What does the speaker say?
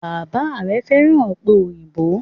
Bàbá rè féràn òpè òyìnbó